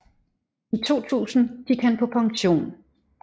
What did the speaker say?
I 2000 gik han på pension